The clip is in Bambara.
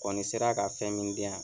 Kɔni sera ka fɛn min di yan.